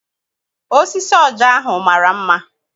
Osisi ọja ahụ mara mma.